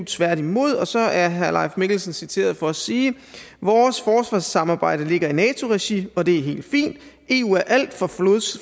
tværtimod og så er herre leif mikkelsen citeret for at sige vores forsvarssamarbejde ligger i nato regi og det er helt fint eu er alt for